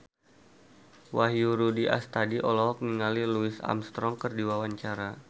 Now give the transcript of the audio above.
Wahyu Rudi Astadi olohok ningali Louis Armstrong keur diwawancara